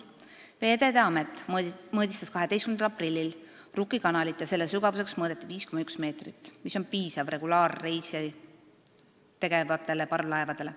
" Veeteede Amet mõõtis 12. aprillil Rukki kanalit ja selle sügavuseks märgiti 5,1 meetrit, mis on piisav regulaarreise tegevatele parvlaevadele.